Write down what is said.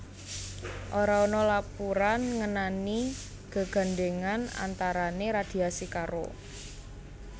Ora ana lapuran ngenani gegandhèngan antarané radiasi karo